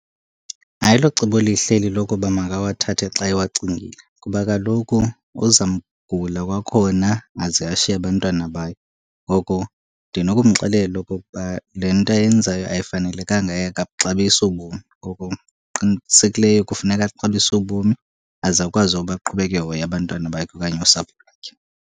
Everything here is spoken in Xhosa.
Ayilocebo lihle eli lokuba makawathathe xa ewacingile. Kuba kaloku uzamgula kwakhona aze ashiye abantwana bakhe. Ngoko ndinokumxelela okokuba le nto ayenzayo ayifanelekanga yaye akabuxabisi ubomi, ngoko qinisekileyo kufuneka axabise ubomi aze akwazi uba aqhubeke ehoya abantwana bakhe okanye nosapho lwakhe.